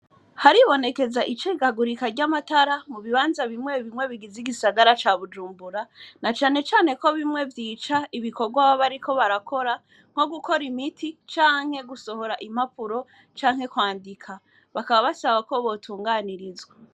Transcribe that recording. Haribonekeza icikagurika ry'amatara mu bibanza bimwe bimwe bigize igisagara ca bujumbura, nacane cane ko bimwe vyica ibikorwa baba bariko barakora, nko gukora imiti canke gusohora impapuro, canke kwandika bakaba basaba ko butunganirizwa.